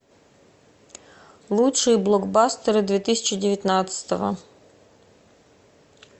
лучшие блокбастеры две тысячи девятнадцатого